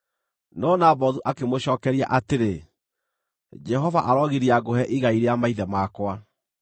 No Nabothu akĩmũcookeria atĩrĩ, “Jehova arogiria ngũhe igai rĩa maithe makwa.”